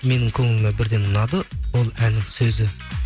менің көңіліме бірден ұнады бұл әннің сөзі